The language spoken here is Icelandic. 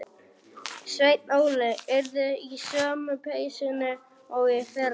Sveinn Óli yrði í sömu peysunni og í fyrra.